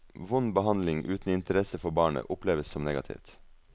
Vond behandling uten interesse for barnet, oppleves som negativt.